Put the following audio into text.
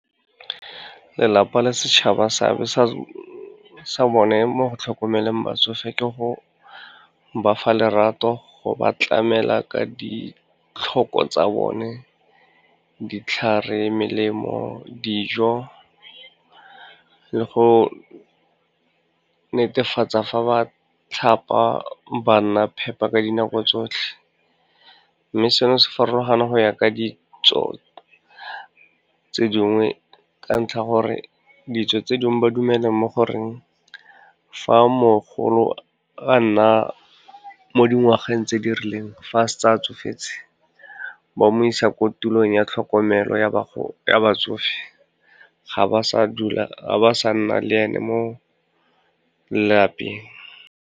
Lelapa le setšhaba seabe sa bone mo go tlhokomeleng batsofe ka go ba fa lerato, go ba tlamela ka ditlhoko tsa bone, ditlhare, melemo, dijo le go netefatsa fa ba tlhapa banna phepa ka dinako tsotlhe. Mme seno se farologana go ya ka ditso tse dingwe, ka ntlha gore ditso tse dingwe ba dumelang mo goreng, fa mogolo a nna mo dingwageng tse di rileng fa a setse a tsofetse, ba mo isa ko tulong ya tlhokomelo ya batsofe, ga ba sa nna le ene mo lelapeng.